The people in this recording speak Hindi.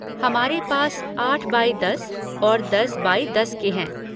हमारे पास आठ बाई दस और दस बाई दस के हैं।